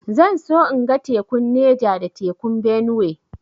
Zan so in ga tekun Neja da tekun Benue